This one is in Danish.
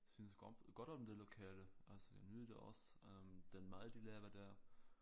Synes godt om det lokale altså jeg nyder da også øh den mad de laver der